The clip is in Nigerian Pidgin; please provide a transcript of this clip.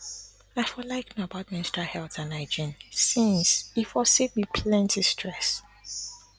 i for like know about menstrual health and hygiene since e for save me plenty stress